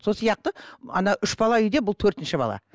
сол сияқты ана үш бала үйде бұл төртінші бала